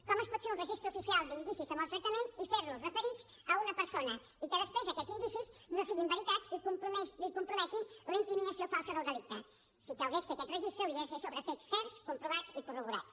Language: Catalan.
com es pot fer un registre oficial d’indicis de maltractament i fer los referits a una persona i que després aquests indicis no siguin veritat i comprometin la incriminació falsa del delicte si calgués fer aquest registre hauria de ser sobre fets certs comprovats i corroborats